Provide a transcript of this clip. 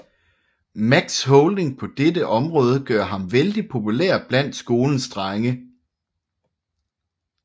Max holding på dette område gør ham vældig populær blandt skolens drenge